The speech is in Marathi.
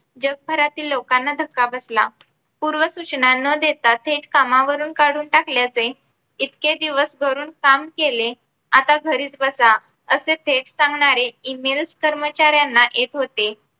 जगभरतील लोकांना धक्का बसला. पूर्वसूचना ना देता थेट कामावरून काढून टाकल्याचे इतके दिवस घरून काम केले आता घरीच बसा असा थेट सांगणारे E mails कर्मचाऱ्यांना येत होते